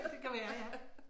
Det kan være ja